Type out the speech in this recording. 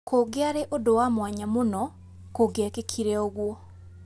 kũkiari ũndu wa mwanya mũno kũkiekikile ũguo